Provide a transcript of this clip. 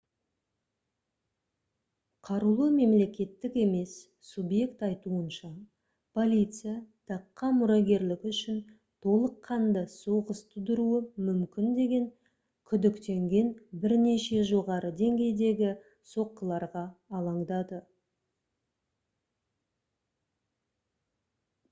қарулы мемлекеттік емес субъект айтуынша полиция таққа мұрагерлік үшін толыққанды соғыс тудыруы мүмкін деп күдіктенген бірнеше жоғары деңгейдегі соққыларға алаңдады